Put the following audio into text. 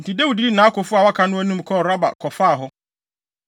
Enti Dawid dii nʼakofo a wɔaka no anim kɔɔ Raba kɔfaa hɔ.